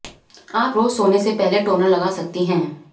आप रोज सोने से पहले टोनर लगा सकती हैं